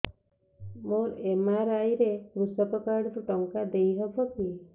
ମୋର ଏମ.ଆର.ଆଇ ରେ କୃଷକ କାର୍ଡ ରୁ ଟଙ୍କା ଦେଇ ହବ କି